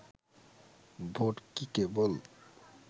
vote কি কেবল